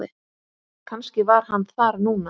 Kannski var hann þar núna.